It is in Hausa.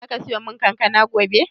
Zaka siya mun kankana gobe?